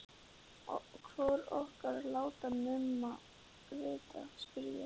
Hvor okkar á að láta Mumma vita, spurði ég.